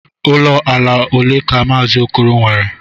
Uo ala ole ka Maazị Okoro nwere?